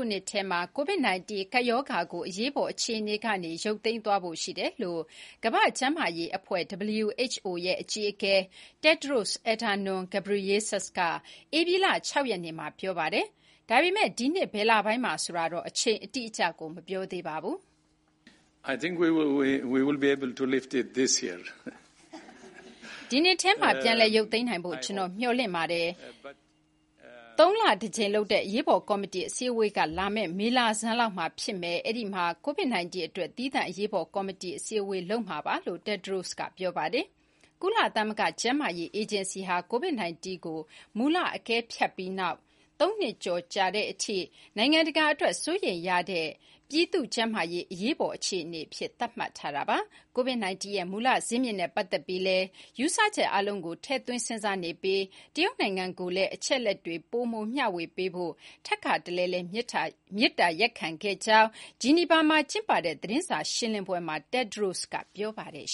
ုနှစ်ထဲမှာ COVID-19 ကပ်ရောဂါကို အရေးအပေါ် အခြေအနေကနေ ရုတ်သိမ်းသွားဖို့ ရှိတယ်လို့ ကမ္ဘာ့ကျန်းမာရေးအဖွဲ့ WHO ရဲ့ အကြီးအကဲ Tedros Adhanom Ghebreyesus က ဧပြီလ (၆) ရက်နေ့မှာ ပြောလိုက်ပါတယ်။ ဒါပေမဲ့ ဒီနှစ် ဘယ်လပိုင်းမှာလဲ ဆိုတာတော့ အချိန်အတိအကျ မပြောသေးပါဘူး။ “ဒီနှစ်ထဲမှာ ပြန်လည် ရုတ်သိမ်းနိုင်ဖို့ ကျွန်တော် မျှော်လင့်ပါတယ်။ သုံးလတစ်ကြိမ်လုပ်တဲ့ အရေးပေါ်ကော်မတီ အစည်းအဝေးက လာမယ့် မေလဆန်းလောက်မှာ ဖြစ်မယ်။ အဲ့ဒီမှာ COVID-19 အတွက် သီးသန့် အရေးပေါ် ကော်မတီ အစည်းအဝေးလုပ်မှာပါ။” လို့ Tedros တက်ဒရို့စ်က ပြောပါတယ်။ ကုလသမဂ္ဂ ကျန်းမာရေးအေဂျင်စီဟာ COVID-19 ကို မူလ အကဲဖြတ်ပြီးနောက် ၃ နှစ်ကျော်ကြာတဲ့အထိ နိုင်ငံတကာအတွက် စိုးရိမ်ရတဲ့ ပြည်သူ့ကျန်းမာရေး အရေးပေါ် အခြေအနေအဖြစ် သတ်မှတ်ထားတာပါ။ COVID-19 ရဲ့ မူလဇစ်မြစ်နဲ့ ပတ်သက်ပြီးလည်း ယူဆချက်အားလုံးကို ထည့်သွင်း စဉ်းစားနေပြီး တရုတ်နိုင်ငံကိုလည်း အချက်အလက်တွေ ပိုမို မျှဝေပေးဖို့ ထပ်ခါတလဲလဲ မေတ္တာရပ်ခံခဲ့တဲ့အကြောင်း ဂျီနီဗာမှာကျင်းပတဲ့ သတင်းစာ ရှင်းလင်းပွဲမှာ တက်ဒရို့စ်က ပြောပါတယ်